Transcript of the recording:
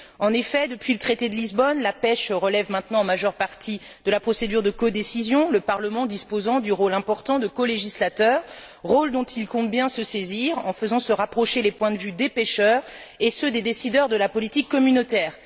En effet, depuis le traité de Lisbonne, la pêche relève maintenant en majeure partie de la procédure de codécision, le Parlement disposant du rôle important de colégislateur, rôle dont il compte bien se saisir en faisant se rapprocher les points de vue des pêcheurs et ceux des décideurs de la politique communautaire.